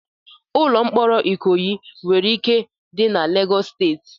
Ụlọ mkpọrọ ikoyi nwere ike dị na Lagos State